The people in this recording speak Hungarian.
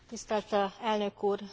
Tisztelt Elnök Úr!